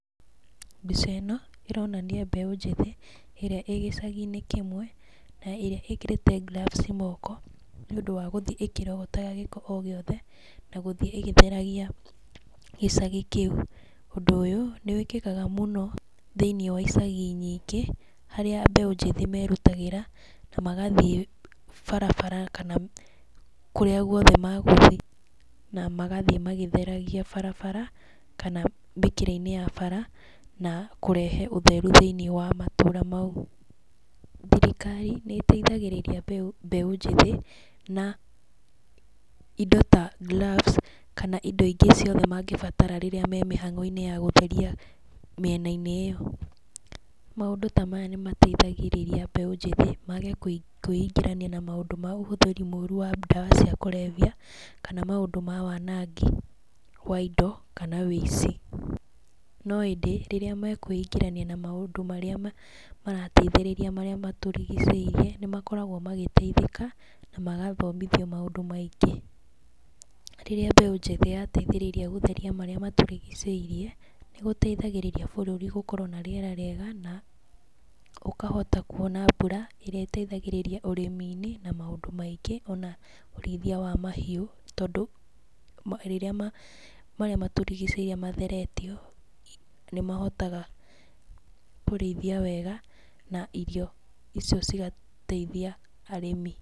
Mbica ĩno ĩronania mbeũ njĩthĩ, ĩrĩa ĩ gĩcagi-inĩ kĩmwe, na ĩrĩa ĩkĩrĩte gloves moko, nĩ ũndũ wa gũthiĩ ĩkĩrogotaga gĩko o gĩothe, na gũthiĩ ĩgĩtheragia gĩcagi kĩu. Ũndũ ũyũ, nĩ wĩkĩkaga mũno thĩiniĩ wa icagi nyingĩ, harĩa mbeũ njĩthĩ merutagĩra, na magathiĩ barabara kana kũrĩa guothe magũthiĩ, na magathiĩ magĩtheragia barabara kana mĩkĩra-inĩ ya bara na kũrehe ũtheru thĩiniĩ wa matũũra mau. Thirikari nĩ ĩteithagĩrĩria mbeũ njĩthĩ na indo ta gloves, kana indo ingĩ ciothe mangĩbatara rĩrĩa me mĩhang'o-inĩ ya gũtheria mĩena-inĩ ĩyo. Maũndũ ta maya nĩ mateithagĩrĩria mbeũ njĩthĩ, mage kwĩingĩrania na maũndũ ma ũhũthĩri mũru wa ndawa cia kũrebia kana maũndũ ma wanangi wa indo kana wĩici. No ĩndĩ, rĩrĩa me kwĩingĩrania na maũndũ marĩa marateithĩrĩria marĩa matũrigicĩirie, nĩ makoragwo magĩteithĩka, na magathomithio maũndũ maingĩ. Rĩrĩa mbeũ njĩthĩ yateithĩrĩria gũtheria marĩa matũrigicĩirie nĩ gũteithagĩrĩria bũrũri gũkorwo na rĩera rĩega na ũkahota kuona mbura, ĩrĩa ĩteithagĩrĩria ũrĩmi-inĩ na maũndũ maingĩ, ona ũrĩithia wa mahiũ, tondũ rĩrĩa marĩa matũrigicĩirie matheretio, nĩ mahotaga kũrĩithia wega na irio icio cigateithia arĩmi.